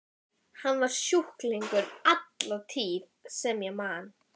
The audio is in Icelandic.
Hann var sjúklingur alla tíð sem ég man.